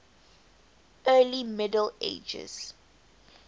early middle ages